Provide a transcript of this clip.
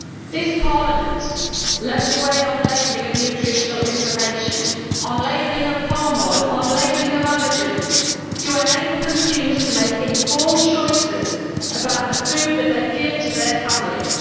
This Parliament led the way on labelling of nutritional information, on labelling of palm oil, on labelling of allergens to enable consumers to make informed choices about the food that they give to their families.